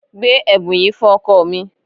Gbé ẹ̀bùn yìí fún ọkọ mi.